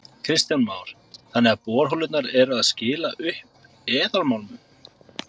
Kristján Már: Þannig að borholurnar eru að skila upp eðalmálmum?